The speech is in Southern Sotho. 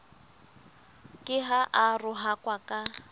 ke ha a rohakwa ka